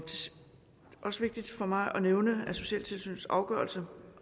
også vigtigt for mig at nævne at socialtilsynets afgørelser